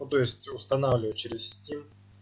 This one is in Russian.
ну то есть устанавливать через стим